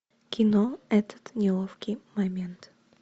кино этот неловкий момент